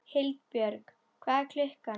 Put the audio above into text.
Hildibjörg, hvað er klukkan?